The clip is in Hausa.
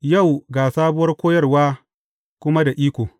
Yau ga sabuwar koyarwa kuma da iko!